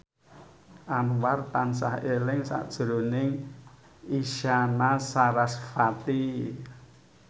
Anwar tansah eling sakjroning Isyana Sarasvati